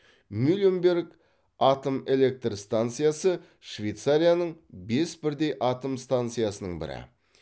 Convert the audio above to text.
мюленберг атом электр станциясы швейцарияның бес бірдей атом станциясының бірі